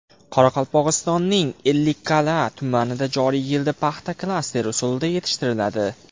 Qoraqalpog‘istonning Ellikqal’a tumanida joriy yilda paxta klaster usulida yetishtiriladi.